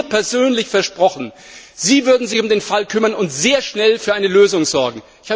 Sie haben mir persönlich versprochen, Sie würden sich um den Fall kümmern und sehr schnell für eine Lösung sorgen.